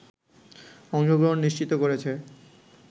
অংশগ্রহণ নিশ্চিত করেছে